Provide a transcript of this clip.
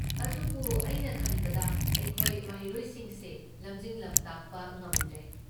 ꯑꯗꯨꯕꯨ, ꯑꯩꯅ ꯈꯟꯕꯗ ꯑꯩꯈꯣꯏ ꯃꯍꯩꯔꯣꯏꯁꯤꯡꯁꯦ ꯂꯝꯖꯤꯡ ꯂꯝꯇꯥꯛꯄ ꯉꯝꯗ꯭ꯔꯦ꯫